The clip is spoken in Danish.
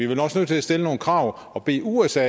vel også nødt til at stille nogle krav og bede usa